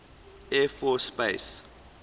air force space